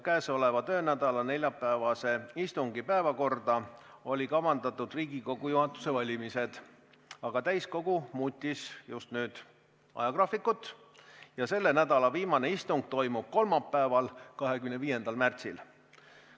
Käesoleva töönädala neljapäevase istungi päevakorda olid kavandatud Riigikogu juhatuse valimised, aga täiskogu muutis nüüd ajagraafikut ja selle nädala viimane istung toimub kolmapäeval, 25. märtsil.